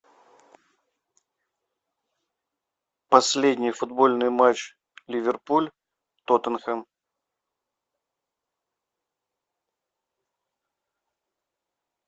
последний футбольный матч ливерпуль тоттенхэм